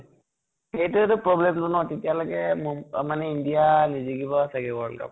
সেইটোৱে তো problem তো ন । তেতিয়া লৈকে মো মানে india নিজিকিব চাগে world cup ।